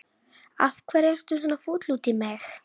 Af hverju ertu svona fúll út í mig?